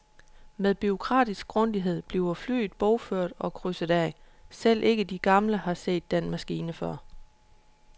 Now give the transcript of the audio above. Med bureaukratisk grundighed bliver flyet bogført og krydset af, selv ikke de gamle har set den maskine før.